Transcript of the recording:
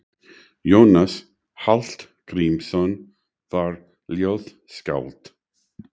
Jónas Hallgrímsson var ljóðskáld.